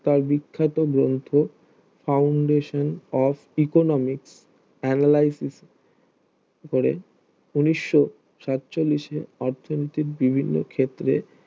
তার বিখ্যাত গ্রন্থ foundation of Economics analysis করে ঊনিশো সাচলিশে অর্থনীতি বিভিন্ন ক্ষেত্রে